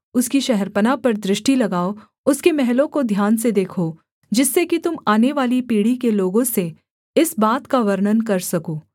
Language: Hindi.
उसकी शहरपनाह पर दृष्टि लगाओ उसके महलों को ध्यान से देखो जिससे कि तुम आनेवाली पीढ़ी के लोगों से इस बात का वर्णन कर सको